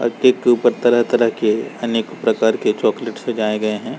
अ-- cake के ऊपर तरह-तरह के अनेक प्रकार के चॉकलेट सजायें गए हैं।